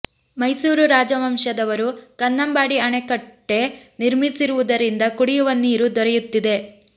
ಮೈಸೂರು ರಾಜವಂಶದವರು ಕನ್ನಂಬಾಡಿ ಅಣೆಕಟ್ಟೆ ನಿರ್ಮಿಸಿರುವು ದರಿಂದ ಕುಡಿಯುವ ನೀರು ದೊರೆಯುತ್ತಿದೆ